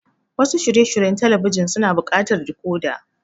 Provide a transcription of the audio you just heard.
Wasu shirye shiryen talabijin suna buƙatar decoder.